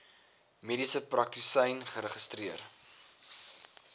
mediese praktisyn geregistreer